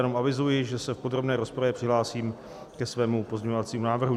Jenom avizuji, že se v podrobné rozpravě přihlásím ke svému pozměňovacímu návrhu.